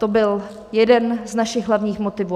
To byl jeden z našich hlavních motivů.